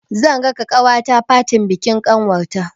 Zan raka ƙawata fatin bikin ƙanwar ta.